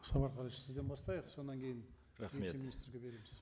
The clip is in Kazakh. сізден бастайық содан кейін рахмет вице министрге береміз